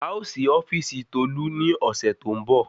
A ó sí ofíìsì tolu ni ọ̀sẹ̀ tó ń bọ̀